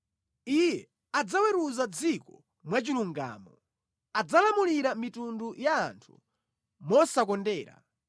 Iye adzaweruza dziko mwachilungamo; adzalamulira mitundu ya anthu mosakondera.